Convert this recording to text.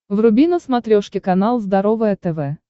вруби на смотрешке канал здоровое тв